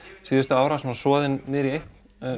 síðustu ára svona soðin niður í eitt